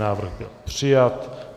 Návrh byl přijat.